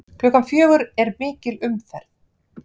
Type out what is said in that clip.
Klukkan fjögur er mikil umferð.